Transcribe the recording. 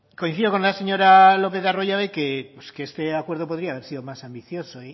coincido con la señora lopez de arroyabe pues que este acuerdo podría haber sido más ambicioso